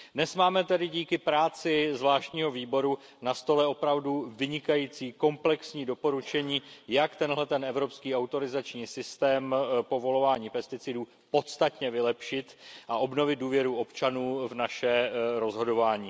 Dnes máme tedy díky práci zvláštního výboru na stole opravdu vynikající komplexní doporučení, jak tento evropský autorizační systém povolování pesticidů podstatně vylepšit a obnovit důvěru občanů v naše rozhodování.